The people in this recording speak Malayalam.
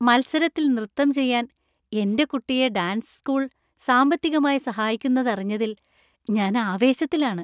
മത്സരത്തിൽ നൃത്തം ചെയ്യാൻ എന്‍റെ കുട്ടിയെ ഡാൻസ് സ്കൂൾ സാമ്പത്തികമായി സഹായിക്കുന്നതറിഞ്ഞതിൽ ഞാൻ ആവേശത്തിലാണ്.